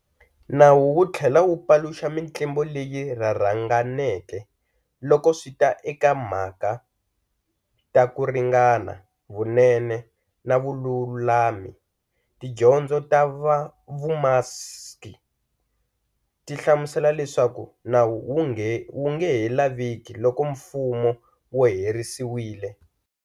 Nawu wu thlela wu paluxa mintlimbo leyi rharhanganeke loko swita eka ti mhaka ta Kuringana, Vunene, na Vululami. Tidyondzo ta VuMaksi ti hlamusela leswaku Nawu wu ngehe laveki loko Mfumo wu herisiwile.